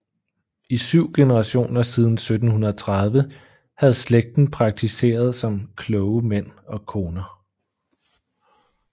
I syv generationer siden 1730 havde slægten praktiseret som kloge mænd og koner